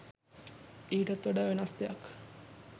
ඊටත් වඩා වෙනස් දෙයක්